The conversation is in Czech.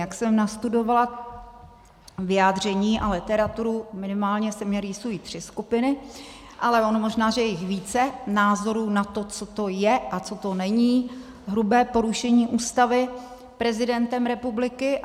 Jak jsem nastudovala vyjádření a literaturu, minimálně se mně rýsují tři skupiny, ale ono možná že je více názorů na to, co to je a co to není hrubé porušení Ústavy prezidentem republiky.